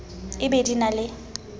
e be di na le